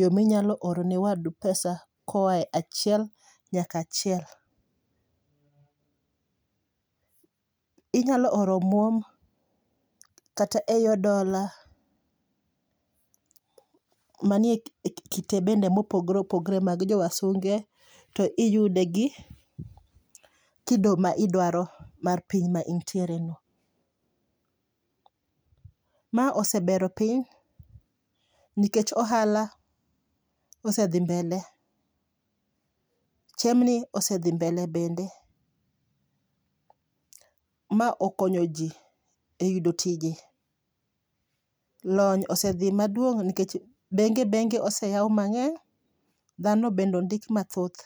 yo minyalo oro ne wadu pesa koa e achiel nyakachiel. Inyalo oro omuom kata eyo dola, manie kite bende mopogre opogre mag jo wasunge to iyude gi kido ma idwaro mar piny ma intiere no. Ma osebero piny nikech ohala osedhi mbele, chiemni osedhi mbele be, ma okonyo ji e yudo tije. Lony osedhi maduong' nikech benge benge oseyaw mang'eny, dhano bende ondik mathoth.